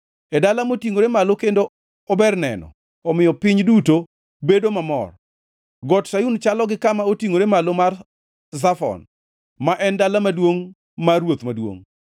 E dala motingʼore malo kendo ober neno omiyo piny duto bedo mamor. Got Sayun chalo gi kama otingʼore malo mar Zafon, ma en dala maduongʼ mar Ruoth Maduongʼ.